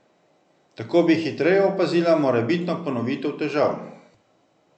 Tako bi hitreje opazila morebitno ponovitev težav.